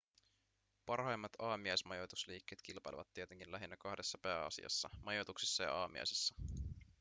parhaimmat aamiaismajoitusliikkeet kilpailevat tietenkin lähinnä kahdessa pääasiassa majoituksissa ja aamiaisessa